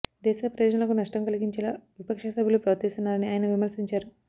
దేశ ప్రయోజనాలకు నష్టం కలగించేలా విపక్ష సభ్యులు ప్రవర్తిస్తున్నారని ఆయన విమర్శించారు